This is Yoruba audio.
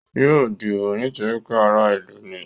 Yóò dìbò nítorí pé ará ìlú ni.